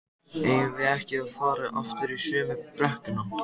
eigum við ekki að fara aftur í sömu brekkuna?